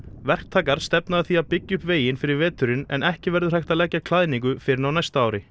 verktakar stefna að því að byggja upp veginn fyrir veturinn en ekki verður hægt að leggja klæðningu fyrr en á næsta ári